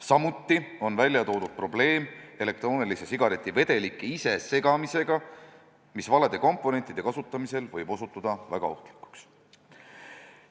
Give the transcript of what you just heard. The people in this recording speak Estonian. Samuti on välja toodud probleem elektroonilise sigareti vedelike ise segamisega, mis valede komponentide kasutamise korral võib osutuda väga ohtlikuks.